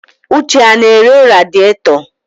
Uche ọ na-ere radịètọ tọ?